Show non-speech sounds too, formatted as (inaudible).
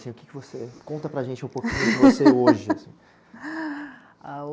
o que que você conta para a gente um pouquinho de você hoje, assim? (laughs) Ah,